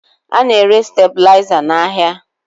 A na-ere stabuliza n'ahịa